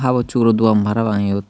habor suburo dogan parapang iyot.